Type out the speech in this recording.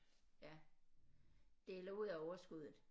Ja dele ud af overskuddet